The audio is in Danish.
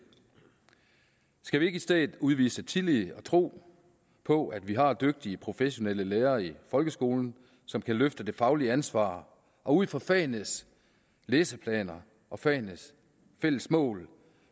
skal vi ikke i stedet udvise tillid og tro på at vi har dygtige professionelle lærere i folkeskolen som kan løfte det faglige ansvar og ud fra fagenes læseplaner og fagenes fælles mål